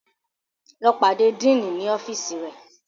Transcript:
Lọ pàdé Diini ní ọfiisi rẹ!